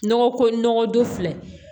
Nɔgɔ ko nɔgɔ don filɛ